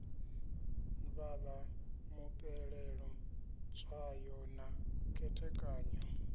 vhala mupeleṱo tswayo na khethekanyo